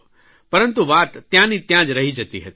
પરંતુ વાત ત્યાંની ત્યાં જ રહી જતી હતી